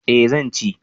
Eh zan ci